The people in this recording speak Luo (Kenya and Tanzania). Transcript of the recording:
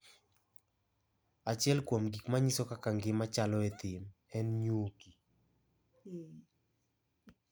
Achiel kuom gik ma nyiso kaka ngima chalo e thim, en nyuki.